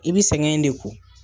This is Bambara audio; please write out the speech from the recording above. I bi sɛgɛn in de kun.